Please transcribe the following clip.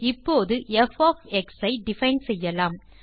இப்போது p of x ஐ define செய்யலாம்